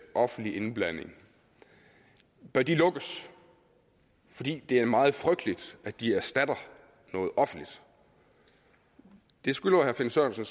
offentlig indblanding bør de lukkes fordi det er meget frygteligt at de erstatter noget offentligt det skylder herre finn sørensen